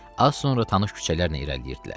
Az sonra tanış küçələrlə irəliləyirdilər.